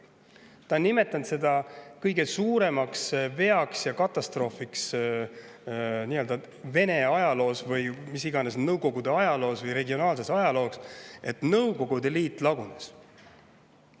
Ta on nimetanud seda kõige suuremaks veaks ja katastroofiks Vene ajaloos või mis iganes, Nõukogude ajaloos või regionaalses ajaloos, et Nõukogude Liit lagunes.